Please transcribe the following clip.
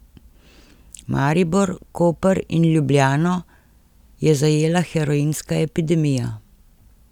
Maribor, Koper in Ljubljano je zajela heroinska epidemija.